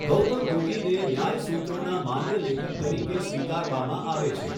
ગૌતમૠગીને ન્યાય સુત્રોના માન્ય લેખક તરીકે સ્વીકારવામાં આવે છે.